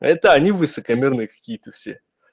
это они высокомерный какие-то все